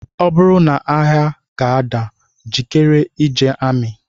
Ọ bụrụ na agha ga-ada, jikere ije amị